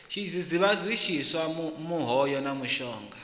tshidzidzivhadzi tshiswa muhayo na mushonga